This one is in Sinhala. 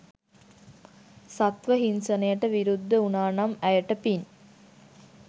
සත්ත්ව හින්සනයට විරුද්ධ උනානම් ඇයට පින්.